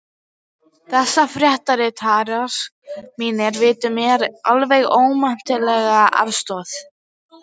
Þessir fréttaritarar mínir veittu mér alveg ómetanlega aðstoð.